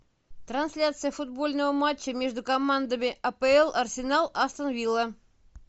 трансляция футбольного матча между командами апл арсенал астон вилла